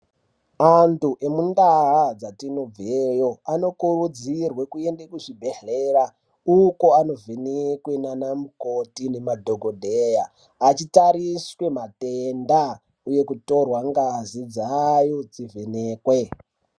Antu nemundaa dzatinobveyo anokurudzirwe kuende kuzvibhedhleya, uko anovhenekwe naanamukoti nemadhokodheya, achitariswe matenda, uye achitorwa ngazi dzayo dzivhenekwe.